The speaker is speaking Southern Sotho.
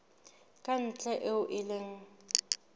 ka ntle eo e leng